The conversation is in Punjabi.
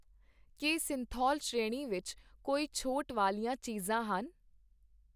ਕੀ ਸਿੰਥੋਲ ਸ਼੍ਰੇਣੀ ਵਿੱਚ ਕੋਈ ਛੋਟ ਵਾਲੀਆਂ ਚੀਜ਼ਾਂ ਹਨ ?